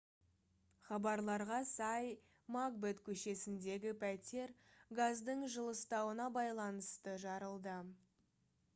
хабарларға сай макбет көшесіндегі пәтер газдың жылыстауына байланысты жарылды